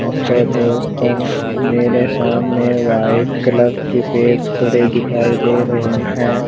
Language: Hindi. यहां पर बहुत सारे मेरे सामने व्हाइट कलर की पेज पड़े दिखाई दे रहे हैं।